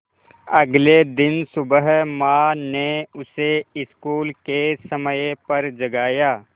अगले दिन सुबह माँ ने उसे स्कूल के समय पर जगाया